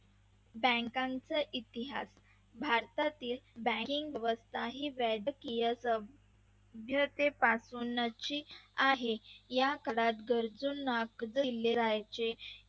bank चा इतिहास भारतातील bank ग व्यवस्था ही पासून ची आहे या काळात गरजूंना कर्ज दिले जायचे.